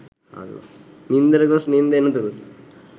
නින්දට ගොස් නින්ද එනතුරුත්